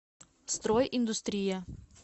стройиндустрия